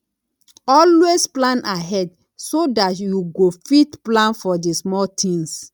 always plan ahead so dat you go fit plan for di small things